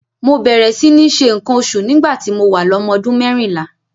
Mo bẹ̀rẹ̀ sí ní ṣe nǹkan oṣù nígbà tí mo wà lọ́mọ ọdún mérìnlá.